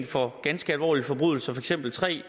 for ganske alvorlige forbrydelser for eksempel tre